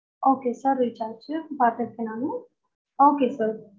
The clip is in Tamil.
okay sir reach ஆச்சு பாத்தாச்சு நானு okay sir